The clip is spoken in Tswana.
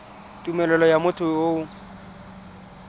tumelelo ya motho yo o